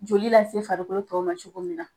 Joli lase farikolo tɔw ma cogo min na